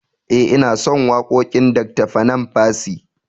Eh inason wakoƙin Dr panam percy